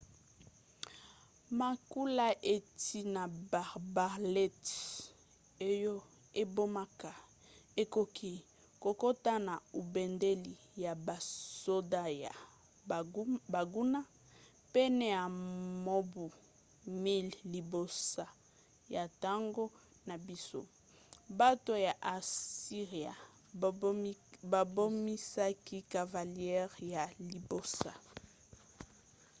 makula euti na baarbalètes oyo ebomaka ekoki kokota na ebundeli ya basoda ya banguna. pene ya mobu 1000 liboso ya ntango na biso bato ya asiria babimisaki cavalerie ya liboso